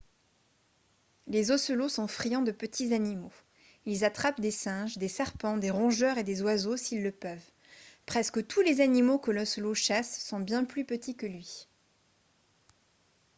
les ocelots sont friands de petits animaux ils attrapent des singes des serpents des rongeurs et des oiseaux s'ils le peuvent presque tous les animaux que l'ocelot chasse sont bien plus petits que lui